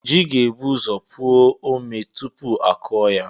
Ji ga-ebu ụzọ puo omé tupu a kụọ ya.